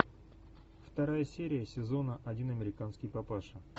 вторая серия сезона один американский папаша